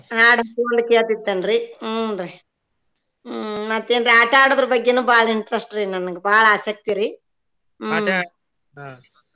ಹಾಡ್ full ಕೇಳತಿರ್ತೆನ್ರೀ ಹುನ್ರೀ ಹ್ಮ್ ಮತ್ತೇನ್ ಆಟಾ ಆಡೋದರ್ ಬಗ್ಗೆನು ಬಾಳ interest ರಿ ನನ್ಗ್ ಬಾಳ ಆಸಕ್ತಿರಿ ಹ್ಮ್ .